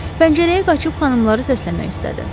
Pəncərəyə qaçıb xanımları səsləmək istədi.